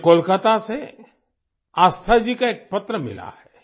मुझे कोलकाता से आस्था जी का एक पत्र मिला है